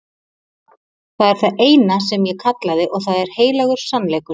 Það er það eina sem ég kallaði og það er heilagur sannleikur.